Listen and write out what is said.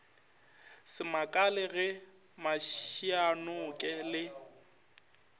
se makale ge mašianoke le